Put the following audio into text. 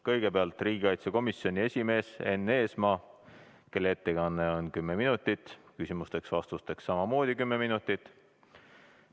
Kõigepealt võtab sõna riigikaitsekomisjoni esimees Enn Eesmaa, kelle ettekanne on kuni kümme minutit ja küsimusteks-vastusteks on aega samamoodi kuni kümme minutit.